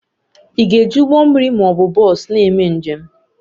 Ị ga-eji ụgbọ mmiri ma ọ bụ bọs na-eme njem?